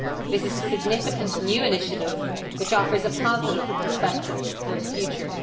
This is a significant new initiative which offers a positive perspective for the future.